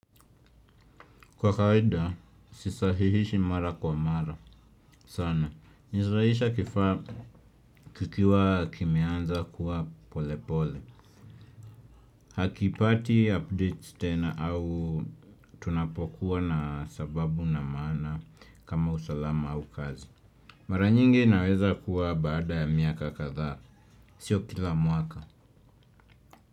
Kwa kawaida sisahihishi mara kwa mara sana. Nizaisha kikiwa kimianza kuwa pole pole. Hakipati update tena au tunapokuwa na sababu na maana kama usalama au kazi. Mara nyingi naweza kuwa baada ya miaka kadhaa. Sio kila mwaka.